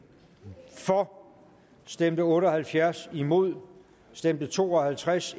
for stemte otte og halvtreds imod stemte to og halvtreds